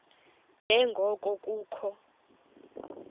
nje ngoko kukho